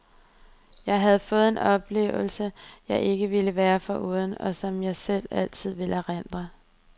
Jeg havde fået en oplevelse, jeg ikke ville være foruden, og som jeg altid vil erindre.